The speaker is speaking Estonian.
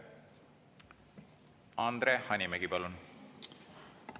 Andre Hanimägi, palun!